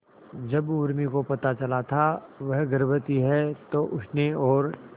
जब उर्मी को पता चला था वह गर्भवती है तो उसने और